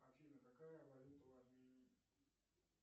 афина какая валюта в армении